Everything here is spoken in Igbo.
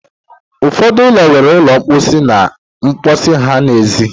Ụfọdụ ụlọ nwere ụlọ mposi ha n'èzí.